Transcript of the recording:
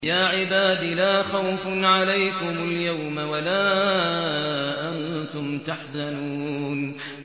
يَا عِبَادِ لَا خَوْفٌ عَلَيْكُمُ الْيَوْمَ وَلَا أَنتُمْ تَحْزَنُونَ